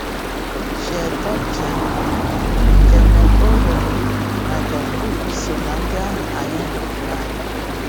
Shield Toutjian, Gene Orrell, na John Booth so na ndị ahụ anyị hụrụ n’anya.